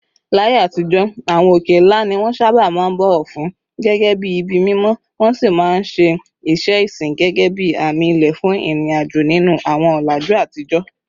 Láyé àtijọ́, àwọn òkè ńlá ni wọ́n sábà máa ń bọ̀wọ̀ fún gẹ́gẹ́ bí ibi mímọ́, wọ́n sì máa ń ṣe iṣẹ́ ìsìn gẹ́gẹ́ bí àmì ilẹ̀ fún ìrìnàjò nínú àwọn ọ̀làjú àtijọ́.